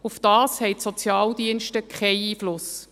Darauf haben die Sozialdienste keinen Einfluss.